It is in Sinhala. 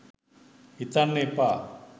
හිතන්න එපා